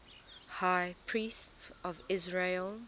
high priests of israel